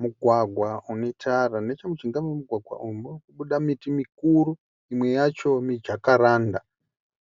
Mugwagwa unetara. Nechemujinga uyu momugwagwa uyu murikubuda miti mikuru imwe yacho mijakaranda